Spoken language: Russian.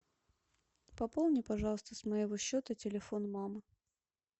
пополни пожалуйста с моего счета телефон мамы